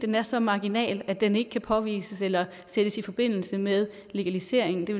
den er så marginal at den ikke kan påvises eller sættes i forbindelse med legaliseringen det